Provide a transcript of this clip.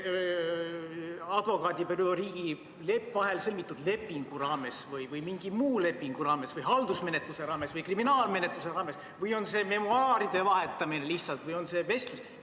Toimub see advokaadibüroo ja riigi vahel sõlmitud lepingu raames või mingi muu lepingu raames või haldusmenetluse raames või kriminaalmenetluse raames või on see lihtsalt memuaaride vahetamine või on see vestlus?